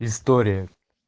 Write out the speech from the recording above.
история